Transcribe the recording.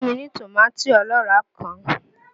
Fún mi ní tòmátì ọlọ́ràá kan!